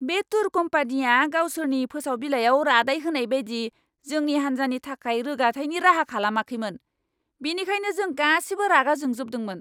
बे टुर कम्पानिया गावसोरनि फोसाव बिलाइआव रादाइ होनाय बायदि जोंनि हान्जानि थाखाय रोगाथायनि राहा खालामाखैमोन, बेनिखायनो जों गासिबो रागा जोंजोबदोंमोन!